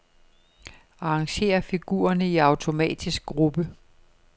Arrangér figurerne i automatisk gruppe.